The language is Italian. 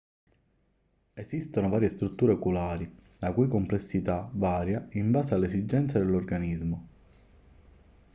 esistono varie strutture oculari la cui complessità varia in base alle esigenze dell'organismo